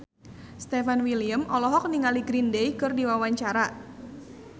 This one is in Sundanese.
Stefan William olohok ningali Green Day keur diwawancara